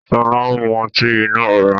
Sọlá ń mú ọtí inú ọ̀rá